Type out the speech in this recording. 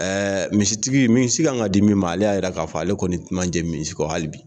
misitigi, misi kan ka di min ma, ale y'a jira k'a fɔ, ale kɔni tun ma jɛn misi kɔ hali bi!